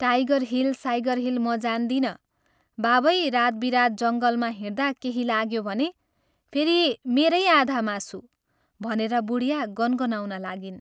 Tiger hill, साइगर hill म जान्दिनँ, बाबै रात बिरात जङ्गलमा हिंड्दा केही लाग्यो भने, फेरि मेरै आधामासु " भनेर बुढिया गनगनाउन लागिन्।